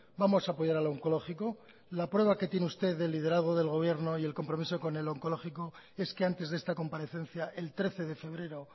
vamos a apoyar al oncológico la prueba que tiene usted del liderazgo del gobierno y el compromiso con el oncológico es que antes de esta comparecencia el trece de febrero